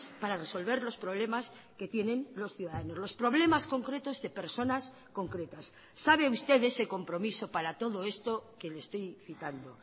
para resolver los problemas que tienen los ciudadanos los problemas concretos de personas concretas sabe usted de ese compromiso para todo esto que le estoy citando